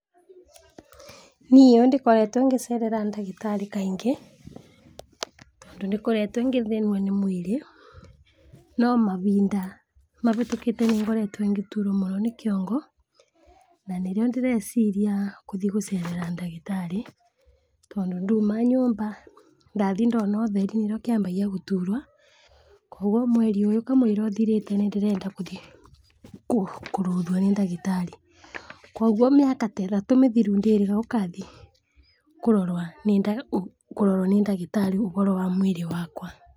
Niũ ndĩkoretwo ngĩcerera ndagĩtarĩ kaingĩ, tondũ ndĩkoretwe ngĩthĩnio nĩ mwĩrĩ no mahinda mahĩtũkĩte nĩngoretwe ngĩturwo mũno nĩ kĩongo na nĩrĩo ndĩreciria kũthi gũcerera ndagĩtarĩ tondũ ndauma nyũmba ndathi ndona ũtheri nĩrĩo kĩambagĩiagũturwo, kwoguo mweri ũyũ kamũira ũthirĩte nĩndĩrenda kũthii kũrorwa nĩndagĩtarĩ, kwoguo mĩaka ta ĩthatũ mĩthiru ndĩrĩga gũkathi kũrorwa nĩndagĩtarĩ ũhoro wa mwĩrĩ wakwa.